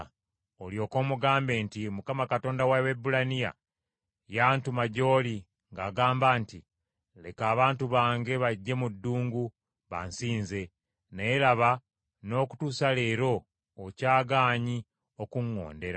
Olyoke omugambe nti, ‘ Mukama Katonda wa Abaebbulaniya yantuma gy’oli ng’agamba nti, Leka abantu bange bajje mu ddungu bansinze; naye, laba, n’okutuusa leero okyagaanyi okuŋŋondera.’